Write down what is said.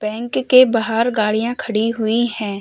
Bank के बाहर गाड़ियां खडी हुई हैं।